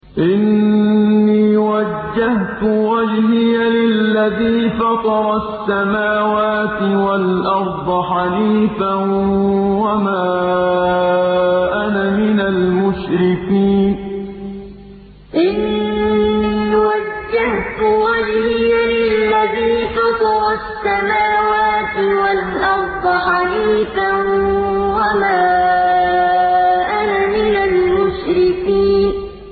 إِنِّي وَجَّهْتُ وَجْهِيَ لِلَّذِي فَطَرَ السَّمَاوَاتِ وَالْأَرْضَ حَنِيفًا ۖ وَمَا أَنَا مِنَ الْمُشْرِكِينَ إِنِّي وَجَّهْتُ وَجْهِيَ لِلَّذِي فَطَرَ السَّمَاوَاتِ وَالْأَرْضَ حَنِيفًا ۖ وَمَا أَنَا مِنَ الْمُشْرِكِينَ